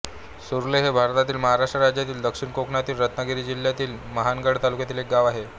सुरले हे भारतातील महाराष्ट्र राज्यातील दक्षिण कोकणातील रत्नागिरी जिल्ह्यातील मंडणगड तालुक्यातील एक गाव आहे